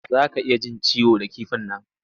Za ka iya jin ciwo da kifin nan.